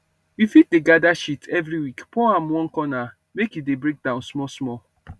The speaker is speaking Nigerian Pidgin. you fit dey gather shit every week pour am one corner make e dey break down small small